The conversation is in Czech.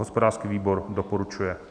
Hospodářský výbor doporučuje.